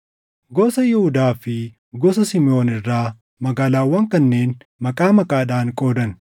Gosa Yihuudaa fi gosa Simiʼoon irraa magaalaawwan kanneen maqaa maqaadhaan qoodan;